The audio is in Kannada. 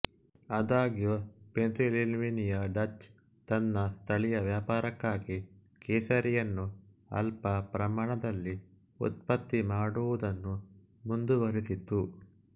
ಆದಾಗ್ಯೂ ಪೆನ್ಸಿಲ್ವೇನಿಯಾ ಡಚ್ ತನ್ನ ಸ್ಥಳೀಯ ವ್ಯಾಪಾರಕ್ಕಾಗಿ ಕೇಸರಿಯನ್ನು ಅಲ್ಪ ಪ್ರಮಾಣದಲ್ಲಿ ಉತ್ಪತ್ತಿ ಮಾಡುವುದನ್ನು ಮುಂದುವೆರೆಸಿತು